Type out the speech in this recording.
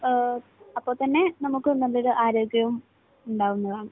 അപ്പോൾത്തന്നെ നമുക്ക് നല്ലൊരു ആരോഗ്യവും ഉണ്ടാകുന്നതാണ്.